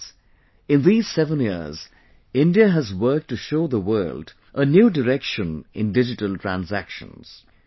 Friends, in these 7 years, India has worked to show the world a new direction in digital transactions